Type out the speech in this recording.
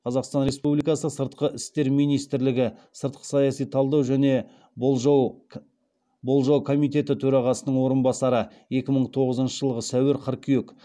қазақстан республикасы сыртқы істер министрлігі сыртқы саяси талдау және болжау комитеті төрағасының орынбасары